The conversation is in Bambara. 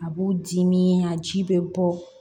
A b'u dimi a ji bɛ bɔ